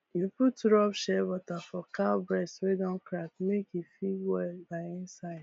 you put rub shea butter for cow breast wey don crack make e fit well by inside